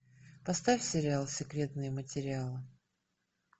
поставь сериал секретные материалы